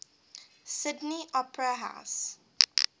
sydney opera house